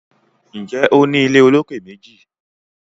Njé O ní ilé olokè méjì?